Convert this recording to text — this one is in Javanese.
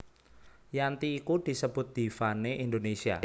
Yanti iku disebut diva né Indonesia